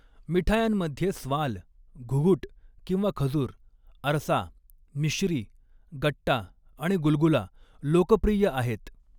मिठायांमध्ये स्वाल, घुघुट किंवा खजूर, अर्सा, मिश्री, गट्टा आणि गुलगुला लोकप्रिय आहेत.